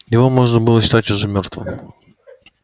его можно было считать уже мёртвым